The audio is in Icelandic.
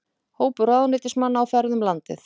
Hópur ráðuneytismanna á ferð um landið